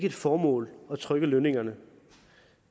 et formål at trykke lønningerne